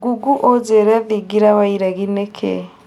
google ũjĩre thigira wa iregi nĩ kĩĩ?